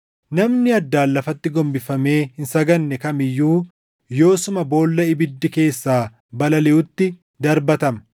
Namni addaan lafatti gombifamee hin sagadne kam iyyuu yoosuma boolla ibiddi keessaa balaliʼutti darbatama.”